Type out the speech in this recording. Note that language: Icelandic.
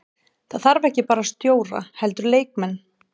Það þarf ekki bara stjóra heldur leikmenn.